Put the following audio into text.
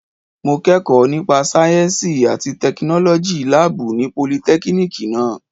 Mo kẹ́kọ̀ọ́ nípa sáyẹ́ǹsì àti tẹkinọ́lọ́jì láàbù ní politẹ́kínìkì náà.